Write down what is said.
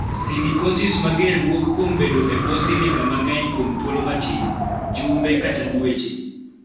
Silicosis mager wuok kuom bedo e bwo silica mang�eny kuom thuolo matin (jumbe kata dweche).